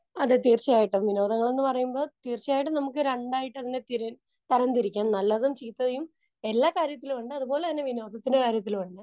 Speaker 2 അതെ തീർച്ചയായിട്ടും. വിനോദങ്ങൾ എന്ന് പറയുമ്പോൾ തീർച്ചയായിട്ടും നമുക്ക് രണ്ടായിട്ട് അതിനെ തിര, തരം തിരിക്കാം. നല്ലതും ചീത്തയും എല്ലാ കാര്യത്തിലും ഉണ്ട്, അതുപോലെതന്നെ വിനോദത്തിന്റെ കാര്യത്തിലും ഉണ്ട്.